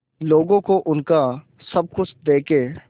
लोगों को उनका सब कुछ देके